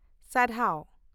ᱥᱟᱨᱦᱟᱣ !